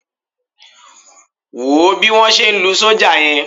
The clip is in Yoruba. Wò ó bí wọ́n ṣe ń lu sọ́jà yẹn.